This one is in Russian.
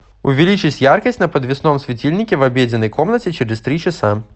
увеличить яркость на подвесном светильнике в обеденной комнате через три часа